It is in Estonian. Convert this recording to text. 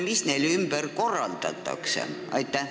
Mis neil ümber korraldatakse?